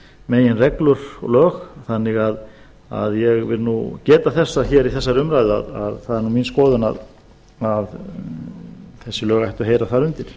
meginreglur og lög þannig að ég vil nú geta þess að hér í þessari umræðu að það er mín skoðun að þessi lög ættu að heyra þar undir